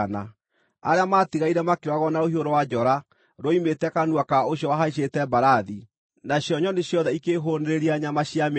Arĩa maatigaire makĩũragwo na rũhiũ rwa njora ruoimĩte kanua ka ũcio wahaicĩte mbarathi, nacio nyoni ciothe ikĩĩhũũnĩrĩria nyama cia mĩĩrĩ yao.